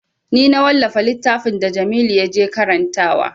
Ni na wallafa littafin da jamilu ya je karantawa